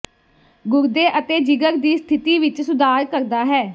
ਗੁਰਦੇ ਅਤੇ ਜਿਗਰ ਦੀ ਸਥਿਤੀ ਵਿੱਚ ਸੁਧਾਰ ਕਰਦਾ ਹੈ